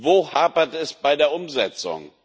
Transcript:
Wo hapert es bei der Umsetzung?